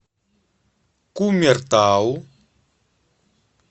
кумертау